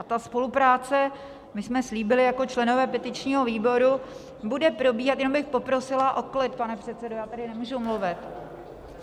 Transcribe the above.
A ta spolupráce, my jsme slíbili jako členové petičního výboru, bude probíhat - jenom bych poprosila o klid, pane předsedo, já tady nemůžu mluvit.